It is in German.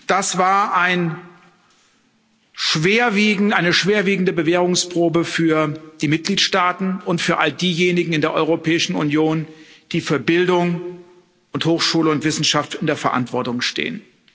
Das war eine schwerwiegende Bewährungsprobe für die Mitgliedsstaaten und für all diejenigen in der Europäischen Union, die für Bildung und Hochschule und Wissenschaft in der Verantwortung stehen.